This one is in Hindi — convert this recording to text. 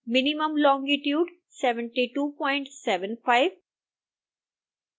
minimum longitude 7275